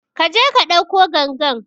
Kaje ka ɗauko gangan